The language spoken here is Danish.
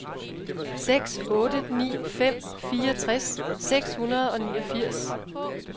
seks otte ni fem fireogtres seks hundrede og niogfirs